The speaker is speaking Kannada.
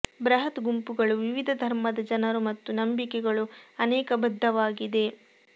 ಬೃಹತ್ ಗುಂಪುಗಳು ವಿವಿಧ ಧರ್ಮದ ಜನರು ಮತ್ತು ನಂಬಿಕೆಗಳು ಅನೇಕ ಬದ್ಧವಾಗಿದೆ